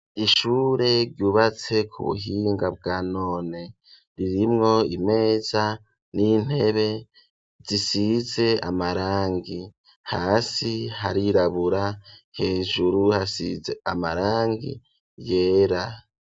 Ishure ryubatse ku buhinga bwa none, ririmwo imeza n'intebe zisise amarangi, hasi harirabura ,hejuru hasize amarangi yera.